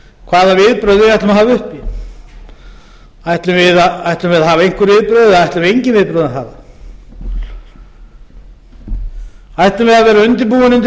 hvaða viðbrögð við ætlum að hafa uppi ætlum við að hafa einhver viðbrögð eða ætlum við engin viðbrögð að hafa ætlum við að vera undirbúin undir